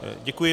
Děkuji.